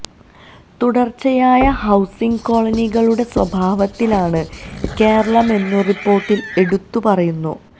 തുടര്ച്ചയായ ഹൌസിംഗ് കോളനികളുടെ സ്വഭാവത്തിലാണ് കേരളമെന്നു റിപ്പോര്ട്ടില് എടുത്തു പറയുന്നു